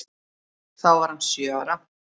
Þá var hann sjö ára.